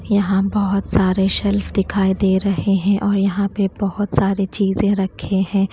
यहां बहोत सारे शेल्फ दिखाई दे रहे हैं और यहां पे बहोत सारे चीजे रखे हैं।